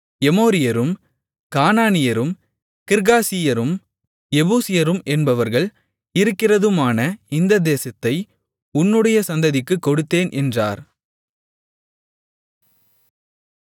எமோரியரும் கானானியரும் கிர்காசியரும் எபூசியரும் என்பவர்கள் இருக்கிறதுமான இந்த தேசத்தை உன்னுடைய சந்ததிக்குக் கொடுத்தேன் என்றார்